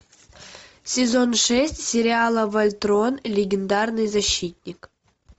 сезон шесть сериала вольтрон легендарный защитник